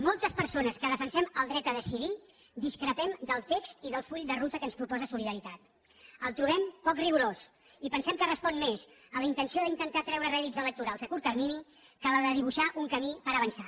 moltes persones que defensem el dret a decidir discrepem del text i del full de ruta que ens proposa solidaritat el trobem poc rigorós i pensem que respon més a la intenció d’intentar treure rèdits electorals a curt termini que a la de dibuixar un camí per avançar